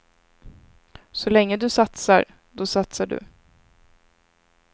Så länge du satsar, då satsar du.